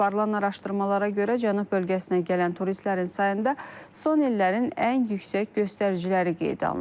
Aparılan araşdırmalara görə, cənub bölgəsinə gələn turistlərin sayında son illərin ən yüksək göstəriciləri qeydə alınıb.